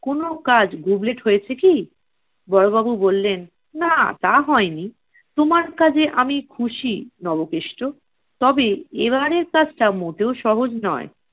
কোনো কাজ গুবলেট হয়েছে কি? বড়োবাবু বললেন, না তা হয় নি। তোমার কাজে আমি খুশি নবকেষ্ট। তবে এবারের কাজটা মোটেও সহজ নয়।